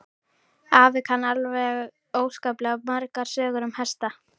Afi kann alveg óskaplega margar sögur um hesta.